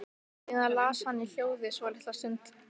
Síðan las hann í hljóði svolitla stund.